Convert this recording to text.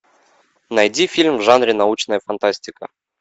найди фильм в жанре научная фантастика